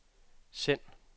send